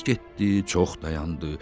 Az getdi, çox dayandı.